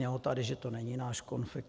Znělo tady, že to není náš konflikt.